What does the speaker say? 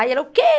Aí ela, o quê?